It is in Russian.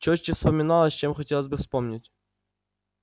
чётче вспоминалось чем хотелось бы вспомнить